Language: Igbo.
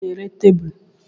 Ònye na-ere tebụl?